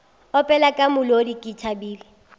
opela ka molodi ke thabile